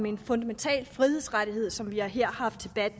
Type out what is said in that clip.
en fundamental frihedsrettighed som vi her har